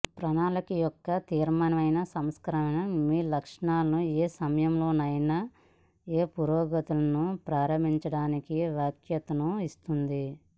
ప్రణాళికా యొక్క తీర్మానమైన సంస్కరణ మీ లక్ష్యాలను ఏ సమయంలోనైనా ఏ సమయంలోనైనా పురోగతులను ప్రారంభించడానికి వశ్యతను ఇస్తుంది